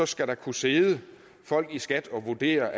skal der kunne sidde folk i skat og vurdere